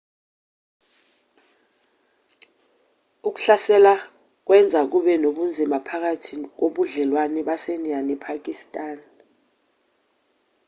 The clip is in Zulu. ukuhlasela kwenza kube nobunzima phakathi kobudlelwane basendiya nepakistan